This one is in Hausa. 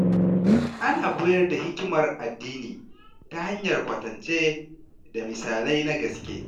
Ana koyar da hikimar addini ta hanyar kwatance da misalai na gaske.